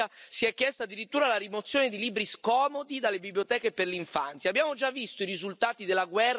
A Spinea, in provincia di Venezia, si è chiesta addirittura la rimozione di libri scomodi dalle biblioteche per l'infanzia.